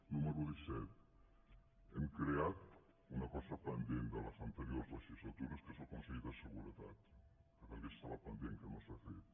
número disset hem creat una cosa pendent de les ante·riors legislatures que és el consell de seguretat que també estava pendent que no s’ha fet